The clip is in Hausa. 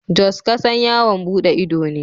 Jos kasan yawon bude ido ne.